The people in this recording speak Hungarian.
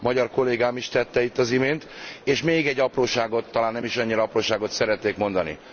magyar kollégám is tette itt az imént. És még egy apróságot talán nem is annyira apróságot szeretnék mondani.